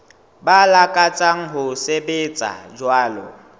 ba lakatsang ho sebetsa jwalo